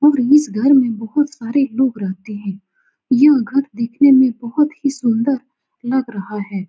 और इस घर में बहुत सारे लोग रहते हैं यह घर दिखने में बहुत ही सुन्दर लग रहा है।